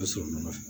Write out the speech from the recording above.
sɔrɔ nɔfɛ